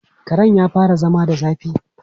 Karen ya fara zama da zafi.